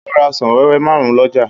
Ó ra ọsàn wẹ́wẹ́ márùn-ún lọ́jà.